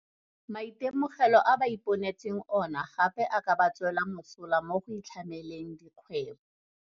Maitemogelo a ba iponetseng ona gape a ka ba tswela mosola mo go itlhameleng dikgwebo.